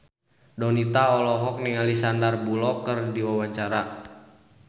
Donita olohok ningali Sandar Bullock keur diwawancara